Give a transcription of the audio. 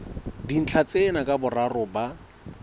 dintlha tsena ka boraro ba